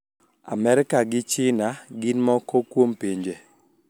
Amerka gi China gin moko kuom pinje